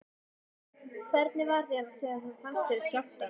Logi: Hvernig var þér við þegar þú fannst skjálftann?